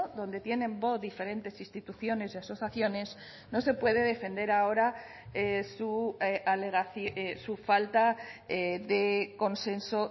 donde tienen voz diferentes instituciones y asociaciones no se puede defender ahora su falta de consenso